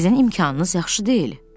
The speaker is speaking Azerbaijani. Sizin imkanınız yaxşı deyil.